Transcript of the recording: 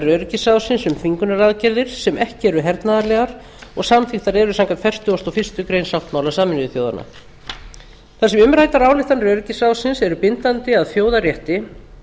öryggisráðsins um þvingunaraðgerðir sem ekki eru hernaðarlegar og samþykktar eru samkvæmt fertugustu og fyrstu grein sáttmála sameinuðu þjóðanna þar sem umræddar ályktanir öryggisráðsins eru bindandi að þjóðarrétti